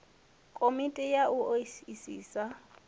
komiti ya u o isisa